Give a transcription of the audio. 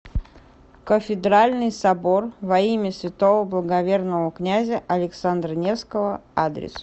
кафедральный собор во имя святого благоверного князя александра невского адрес